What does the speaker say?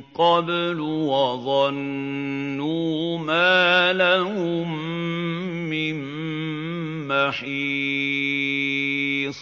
قَبْلُ ۖ وَظَنُّوا مَا لَهُم مِّن مَّحِيصٍ